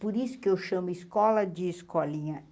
Por isso que eu chamo escola de escolinha.